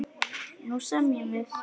Nú semjum við!